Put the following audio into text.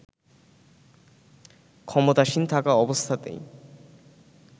ক্ষমতাসীন থাকা অবস্থাতেই